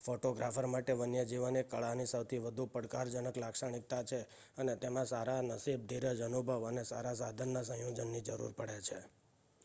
photographer માટે વન્યજીવન એ કળાની સૌથી વધુ પડકારજનક લાક્ષણિકતા છે અને તેમાં સારા નસીબ ધીરજ અનુભવ અને સારા સાધનના સંયોજનની જરૂર પડે છે